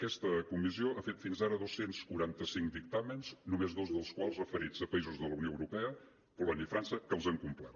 aquesta comissió ha fet fins ara dos cents i quaranta cinc dictàmens només dos dels quals referits a països de la unió europea polònia i frança que els han complert